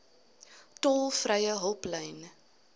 tolvrye hulplyn